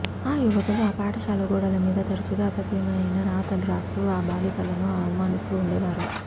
ఆ యువకులు ఆ పాఠశాల గోడల మీద తరచుగా అసభ్యమైన రాతలు రాస్తూ ఆ బాలికలను అవమానిస్తూ ఉండేవారు